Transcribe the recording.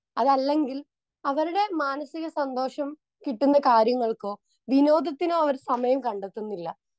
Speaker 2 അതല്ലെങ്കിൽ അവരുടെ മാനസിക സന്തോഷം കിട്ടുന്ന കാര്യങ്ങൾക്കോ വിനോദത്തിനോ അവർ സമയം കണ്ടെത്തുന്നില്ല.